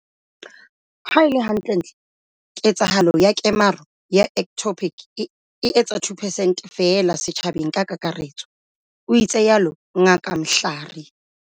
Ha e le hantle-ntle, ketsahalo ya kemaro ya ectopic e etsa 2 percent feela setjhabeng ka kakaretso, o itsalo Ngaka Mhlari.